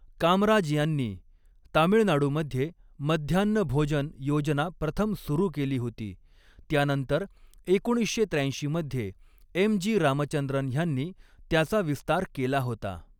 कामराज यांनी तामिळनाडूमध्ये मध्यान्ह भोजन योजना प्रथम सुरू केली होती, त्यानंतर एकोणीसशे त्र्याऐंशी मध्ये एम जी रामचंद्रन ह्यांनी त्याचा विस्तार केला होता.